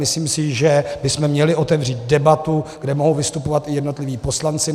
Myslím si, že bychom měli otevřít debatu, kde mohou vystupovat i jednotliví poslanci.